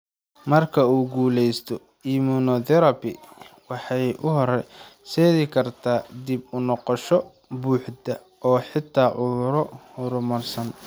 Marka uu guulaysto, immunotherapy waxay u horseedi kartaa dib u noqosho buuxda oo xitaa cuduro horumarsan.